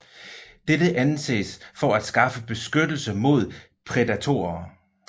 Dette anses for at skaffe beskyttelse mod prædatorer